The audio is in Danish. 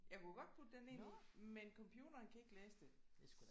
Jeg kunne godt putte den ind i men computeren kan ikke læse det